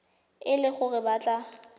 e le gore o batla